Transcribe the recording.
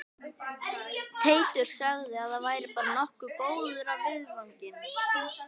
Teitur sagði að væri bara nokkuð góð af viðvaningi